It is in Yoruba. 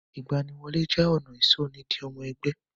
Ìgbaniwọlé jẹ́ ọ̀nà ìsọ ni di ọmọ ẹgbẹ́.